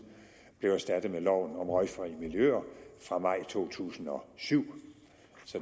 blev erstattet med loven om røgfri miljøer fra maj to tusind og syv